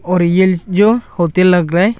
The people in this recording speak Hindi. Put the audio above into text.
और ये जो होतेल लग रहा है।